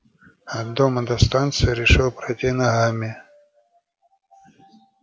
от дома от станции решил пройти ногами